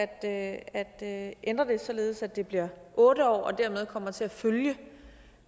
at at ændre det således at det bliver otte år og dermed kommer til at følge